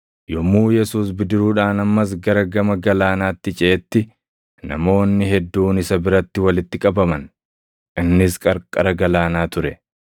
Yommuu Yesuus bidiruudhaan ammas gara gama galaanaatti ceʼetti namoonni hedduun isa biratti walitti qabaman; innis qarqara galaanaa ture.